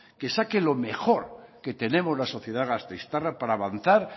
que saque lo mejor que tenemos la sociedad gasteiztarra para avanzar